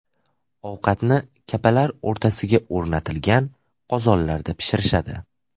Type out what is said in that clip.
Ovqatni kapalar o‘rtasiga o‘rnatilgan qozonlarda pishirishadi.